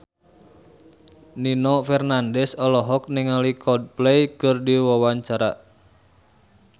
Nino Fernandez olohok ningali Coldplay keur diwawancara